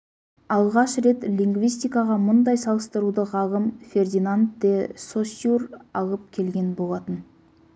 алғаш рет лингвистикаға мұндай салыстыруды ғалым фердинанд де соссюр алып келген болатын